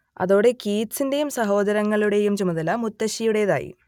അതോടെ കീറ്റ്സിന്റേയും സഹോദരങ്ങളുടേയും ചുമതല മുത്തശ്ശിയുടേതായി